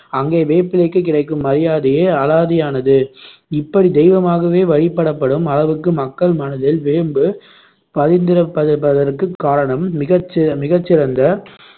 அங்கே வேப்பிலைக்கு கிடைக்கும் மரியாதையே அலாதியானது. இப்படி தெய்வமாகவே வழி படப்படும் அளவுக்கு மக்கள் மனதில் வேம்பு பதிந்திருப்பதபதற்குக் காரணம் மிகச் மிகச் சிறந்த